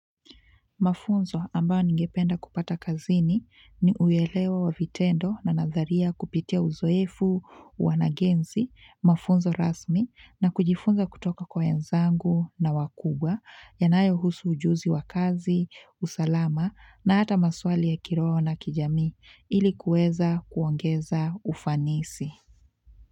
Mafunzo ambao ningependa kupata kazini ni uwelewa wa vitendo na nadharia kupitia uzoefu wanagenzi, mafunzo rasmi, na kujifunza kutoka kwa wenzangu na wakubwa, yanayo husu ujuzi wa kazi, usalama, na hata maswali ya kiroho na kijami, ilikuweza kuongeza ufanisi.